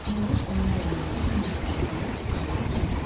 Məryəm onun gəlməyinə bir neçə gün qalmış uşaqlara demişdi: